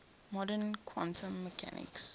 modern quantum mechanics